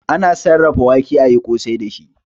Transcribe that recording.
Ana sarrafa wake ayi kosai dashi